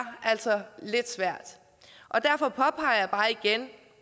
altså lidt svært derfor påpeger jeg bare igen